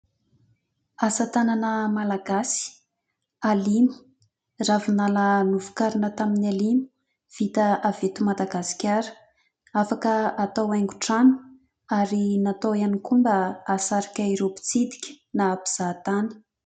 Asa tanana malagasy "alimy" ravinala novokarina tamin'ny alimy vita avy eto madagasikara. Afaka atao aingotrano ary natao ihany koa mba ahasarika ireo mpitsidika na mpizahatany.